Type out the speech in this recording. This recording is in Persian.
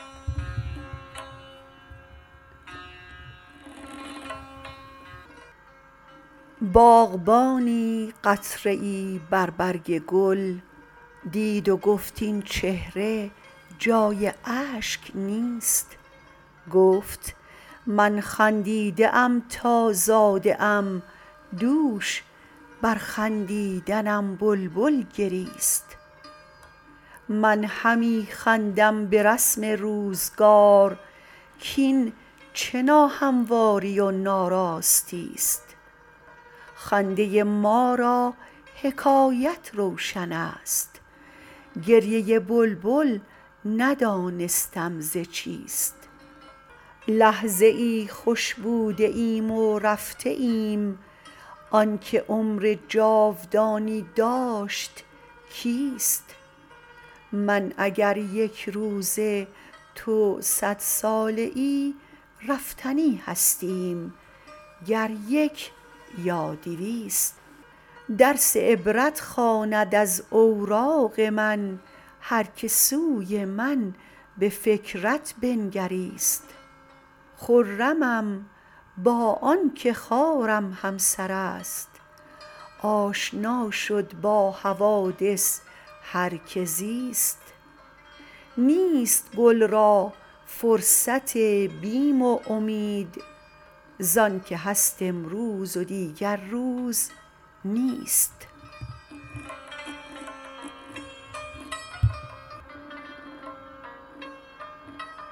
باغبانی قطره ای بر برگ گل دید و گفت این چهره جای اشک نیست گفت من خندیده ام تا زاده ام دوش بر خندیدنم بلبل گریست من همی خندم برسم روزگار کاین چه ناهمواری و ناراستیست خنده ما را حکایت روشن است گریه بلبل ندانستم ز چیست لحظه ای خوش بوده ایم و رفته ایم آنکه عمر جاودانی داشت کیست من اگر یک روزه تو صد ساله ای رفتنی هستیم گر یک یا دویست درس عبرت خواند از اوراق من هر که سوی من بفکرت بنگریست خرمم با آنکه خارم همسر است آشنا شد با حوادث هر که زیست نیست گل را فرصت بیم و امید زانکه هست امروز و دیگر روز نیست